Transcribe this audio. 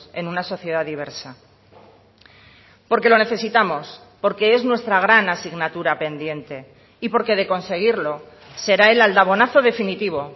en una sociedad diversa porque lo necesitamos porque es nuestra gran asignatura pendiente y porque de conseguirlo será el aldabonazo definitivo